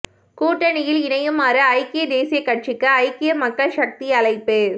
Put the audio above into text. கூட்டணியில் இணையுமாறு ஐக்கிய தேசியக் கட்சிக்கு ஐக்கிய மக்கள் சக்தி அழைப்பு